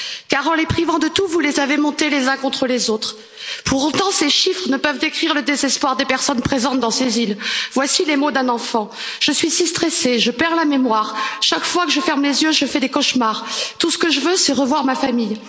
car en les privant de tout vous les avez montés les uns contre les autres. Pour autant, ces chiffres ne peuvent décrire le désespoir des personnes présentes dans ces îles. Voici les mots d'un enfant Je suis si stressé que j'en perds la mémoire, chaque fois que je ferme les yeux je fais des cauchemars. Tout ce que je veux, c'est revoir ma famille.